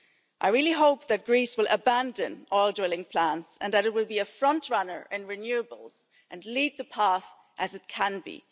on. I really hope that Greece will abandon all drilling plans and that it will be a frontrunner in renewables and lead the path as it can